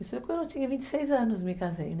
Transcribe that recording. Isso é quando eu tinha vinte e seis anos, me casei, né.